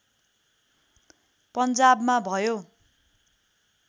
पन्जाबमा भयो